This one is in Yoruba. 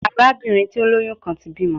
Arabinrin ti o loyun kan ti bimọ